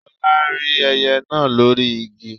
Lọlá rí ẹyẹ náà lórí igi